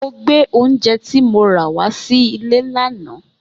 Mo gbé oúnjẹ tí mo rà wá sílé lánàá